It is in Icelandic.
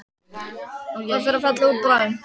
Það fer að falla út bráðum.